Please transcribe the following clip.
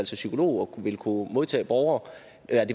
sig psykolog og vil kunne modtage borgere